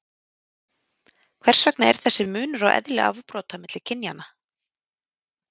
hvers vegna er þessi munur á eðli afbrota milli kynjanna